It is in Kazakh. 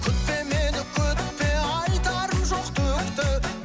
күтпе мені күтпе айтарым жоқ түк те